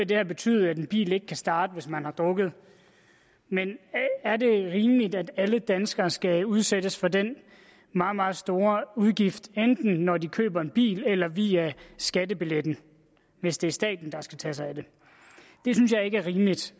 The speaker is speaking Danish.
det her betyde at en bil ikke kan starte hvis man har drukket men er det rimeligt at alle danskere skal udsættes for den meget meget store udgift enten når de køber en bil eller via skattebilletten hvis det er staten der skal tage sig af det det synes jeg ikke er rimeligt